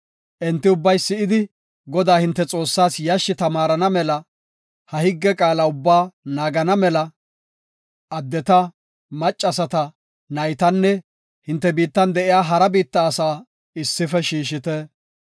Enti ubbay si7idi, Godaa, hinte Xoossaas yashshi tamaarana mela ha higge qaala ubbaa naagana mela addeta, maccasata, naytanne hinte biittan de7iya hara biitta asaa issife shiishite.